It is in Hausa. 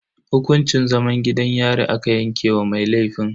Hukuncin zaman gidan yari aka yanke wa mai laifin.